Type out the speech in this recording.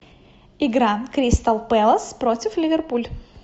игра кристал пэлас против ливерпуль